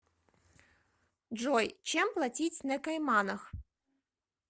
джой чем платить на кайманах